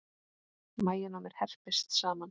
Maginn á mér herpist saman.